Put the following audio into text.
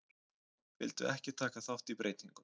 Vildu ekki taka þátt í breytingum